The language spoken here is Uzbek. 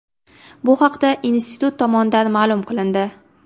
Bu haqda institut tomonidan ma’lum qilindi .